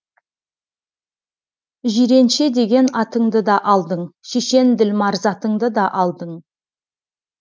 жиренше деген атыңды да алдың шешен ділмар затыңды да алдың